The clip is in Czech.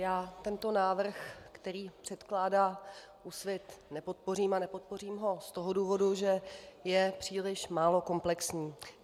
Já tento návrh, který předkládá Úsvit, nepodpořím a nepodpořím ho z toho důvodu, že je příliš málo komplexní.